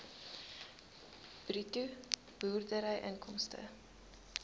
bruto boerderyinkomste